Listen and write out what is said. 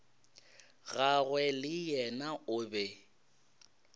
gagwe le yena o be